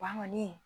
Wa kɔni